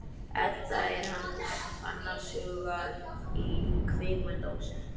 Edda er annars hugar í kvikmyndahúsinu.